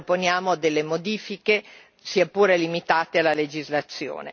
Noi proponiamo delle modifiche, sia pure limitate, alla legislazione.